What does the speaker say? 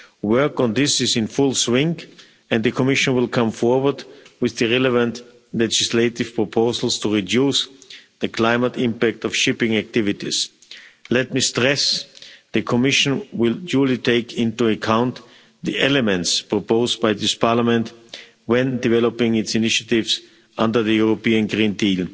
Work on this is in full swing and the Commission will come forward with the relevant legislative proposals to reduce the climate impact of shipping activities. Let me stress, the Commission will duly take into account the elements proposed by this Parliament when developing its initiatives under the European Green Deal.